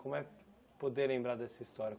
Como é poder lembrar dessa história?